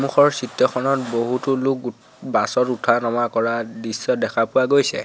কাষৰ চিত্ৰখনত বহুতো লোক গো বাছত উঠা নমা কৰা দৃশ্য দেখা পোৱা গৈছে।